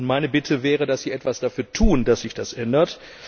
Meine Bitte wäre, dass Sie etwas dafür tun, dass sich das ändert.